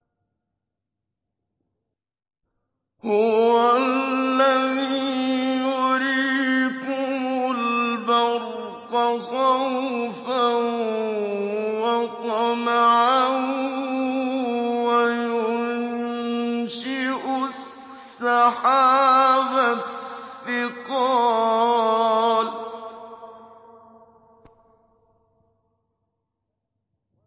هُوَ الَّذِي يُرِيكُمُ الْبَرْقَ خَوْفًا وَطَمَعًا وَيُنشِئُ السَّحَابَ الثِّقَالَ